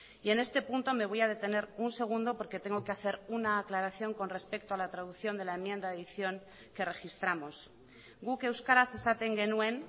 y en este punto me voy a detener un segundo porque tengo que hacer una aclaración con respecto a la traducción de la enmienda de adición que registramos guk euskaraz esaten genuen